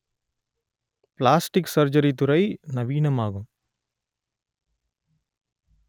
plastic surgery துறை நவீனமாகும்